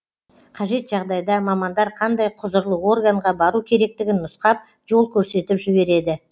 қажет жағдайда мамандар қандай құзырлы органға бару керектігін нұсқап жол көрсетіп жібереді